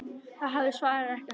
Þeir hafa svarið ekki heldur.